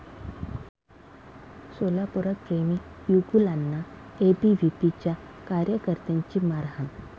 सोलापुरात प्रेमी युगुलांना एबीव्हीपीच्या कार्यकर्त्यांची मारहाण